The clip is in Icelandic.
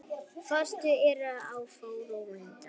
Fasteignir eru svo róandi.